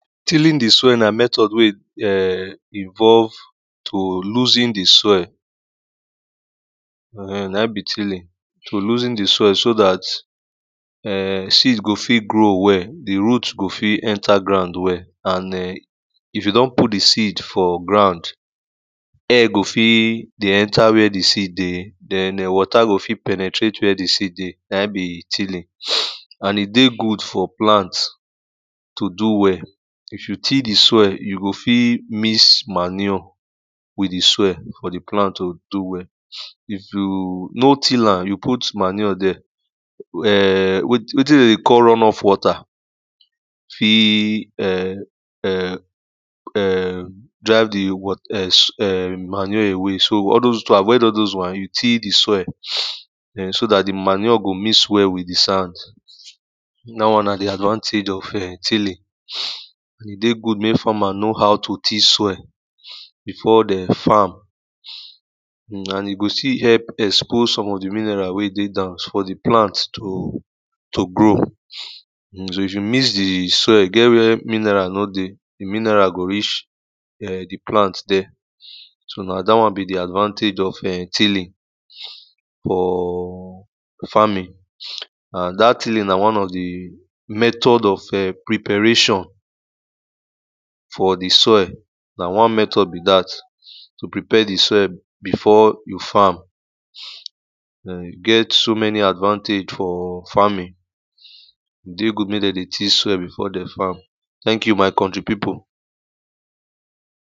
tilling the soil na method ah involve to losen the soil na him be tiling to losen the soil so that ehn, seeds go fit grow well the root go fit enter ground well, and[um]if you don put the seed for ground air go fit enter wey the seed dey wata go fit penitarte wey the seed dey na him be tiling an e dey good for plant to do wehl if you till the soul you fit mix manure wit the soil for the plant to do well ehhhhn wetin dem dey call runoff wata the eh eh eh fit drive the manure away so to dey avoid all those one, you till the soil so manure go mix well with the sand dat one na the advantage of tiling e dey good make farmer know how to till soil before the farm an e go still help expose some of the minerals wey dey ground for the plant to grow so if you mix the soil, e get where mineral no dey, the minerals go reach the plant dey so na that one be the advantage of tilling orrrr farming an that tiling na one of the method of preparation for the soil na one method be that to prepare the soil before you farm then e get so many advantage for farming e dey good make dem dey till soil before dem farm thank you my contry people tílín dè sɔ́ɪ̀l nà métɔ̀d wê a ìnvɔ́lv tò lúzín dɪ̀ sɔ́ɪ̀l nà hɪ́m bí tílín. tò lúsín dɪ̀ sɔ́ɪl só dàt èh sɪ́dz gò fɪ́t grów wêl, dɪ̀ rút gò fɪ́t enta grǎun wel, àn èh ɪ́v jù dɔ́n put dɪ̀ sɪ̂d fɔ̀ gràún gò fɪ́t dè éntá we dɪ̀ sɪ̂d de dên wɔ̀tá gò fɪ́t pènètrét we dɪ̀ sɪ́d dê nà hɪ́m bì tílìn àn ì dé gud fɔ̀ plânt tò dú wêh If jù tíl dɪ̀ sɔ́ɪl, jù gò fɪ́t mɪks màníɔ̀ wɪ̀t dɪ̀ sɔ́ɪ̀l fɔ̀ dɪ̀ plànt tò dú wel sô ɪ̀v jú nò tíl ám, jú pút màníɔ̀ dê èh wétín dèm dè kɔ́l rún ɔf wɔtà dɪ̀ eh eh fɪ́t drɪ̌v dɪ̀ màníɔ̀ àwé sô tò dè àvɔ́ɪd ɔ́l dɔz wɔ̂n, jù tíl dɪ̀ sɔ̂ɪl sô dàt dɪ̀ màníɔ̀ gò míks wêl wɪ̀t dɪ̀ sán dát wɔn nà dɪ̀ àdvántèdʒ ɔ̀f tílìn. ɪ̀ dé gud mék famà nó hau to tíl sɔ́ɪl bɪ̀fɔ́ dè fâm àn ì gò stíl help èkspóz sɔ̀m ɔ̀f dɪ̀ míneràl wé de gàun fɔ̀ dɪ̀ plânt to grǒ. Sɔ̂, ív jù míks dɪ̀ sɔ́ɪ̀l, ì gét we mɪneràl nó de, dɪ̀ míneràl gò rítʃ dɪ̀ plánt dê so, nà dát wɔn bì dɪ̀ àdvántèdʒ ɔ̀v èh tílín ɔ̀ɔ̀ fámìn àn dát tɪlìn nà wɔ́n ɔ̀v dɪ̀ métɔ̀d ɔ̀v prɪ̀pèréʃɔ̀n fɔ̀ dɪ̀ sɔ́ɪ̀l. nà wɔ́n metɔ̀d bì dát tò prɪ̀pé dɪ̀ sɔ́ɪ̀l bɪ̀fɔ̀ jù fâm ɪ̀ gét so menɪ àdvántèdʒ fɔ̀ fámɪ̀n ɪ̀ dé gud mék dèm dè tíl sɔ́ɪ̀l bɪ̀fɔ́ dèm fâm Taŋk ju, mà̀ kɔ̀ntrɪ̀ pɪ́pùl